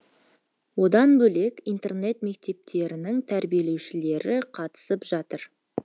одан бөлек интернат мектептердің тәрбиеленушілері қатысып жатыр